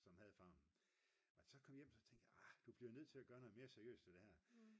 som havde farmen og da jeg så kom hjem så tænkte jeg arh du bliver nødt til at gøre noget mere seriøst ved det her